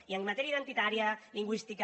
i en matèria identitària lingüística